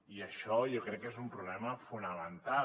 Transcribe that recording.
i això jo crec que és un problema fonamental